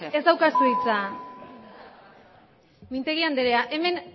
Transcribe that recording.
mintegi andrea ez daukazu hitza mintegi andrea hemen